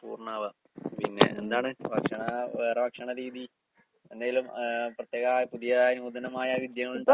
പൂർണ്ണാവ. പിന്നെ എന്താണ് ഭക്ഷണ വേറെ ഭക്ഷണ രീതി എന്തേലും ആഹ് പ്രത്യേക പുതിയ നൂതനമായ വിദ്യകളിണ്ടാ?